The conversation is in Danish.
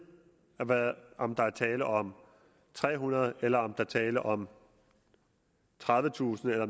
om der er tale om tre hundrede eller om der er tale om tredivetusind eller